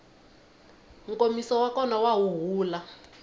nkomiso wa kona wa huhula